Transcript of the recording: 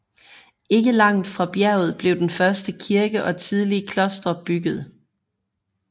Ikke langt fra bjerget blev den første kirke og tidlige klostre bygget